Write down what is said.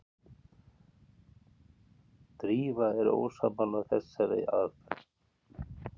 Drífa er ósammála þessari aðferð.